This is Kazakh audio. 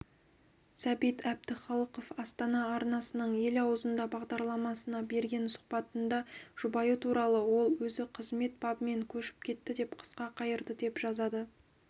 сәбит әбдіхалықов астана арнасының ел аузында бағдарламасына берген сұхбатында жұбайы туралы ол өзіқызмет бабымен көшіп кетті деп қысқа қайырды деп жазады